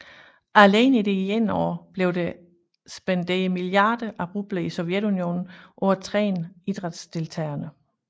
Alene i det ene år blev der spenderet milliarder af rubler i Sovjetunionen på at træne idrætsdeltagerne